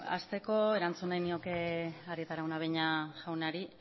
hasteko erantzun nahi nioke arieta araunabeña jaunari